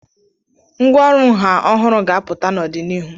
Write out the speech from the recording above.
Ngwá ọrụ nha ọhụrụ ga-apụta n'ọdịnihu.